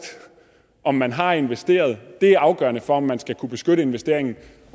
om man har investeret det er afgørende for om man skal kunne beskytte investeringen